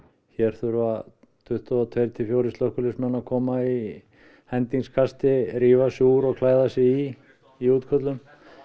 hér þurfa tuttugu og tveir til fjórum slökkviliðsmenn að koma í hendingskasti rífa sig úr og klæða sig í í útköllum